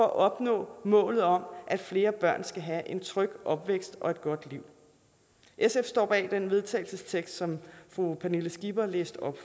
at opnå målet om at flere børn skal have en tryg opvækst og et godt liv sf står bag den vedtagelsestekst som fru pernille skipper læste op